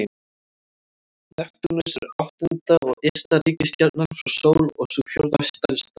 Neptúnus er áttunda og ysta reikistjarnan frá sól og sú fjórða stærsta.